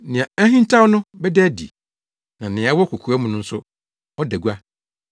Nea ahintaw no bɛda adi, na nea ɛwɔ kokoa mu no nso ada gua.